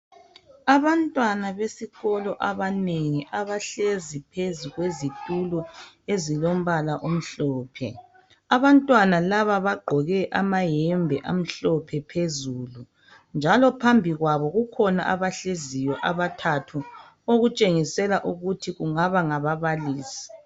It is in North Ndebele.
Abantwana besikolo abanengi abahlezi phezu kwezitulo ezilombala omhlophe, abantwana laba bagqoke amayembe amhlophe phezulu njalo phambi kwabo kukhona abahleziyo abathathu okutshengisela ukuthi kungaba ngababalisi.